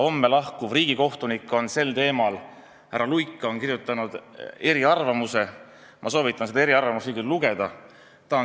Peagi ametist lahkuv riigikohtunik härra Luik on selle kohta kirjutanud eriarvamuse, ma soovitan kõigil seda lugeda.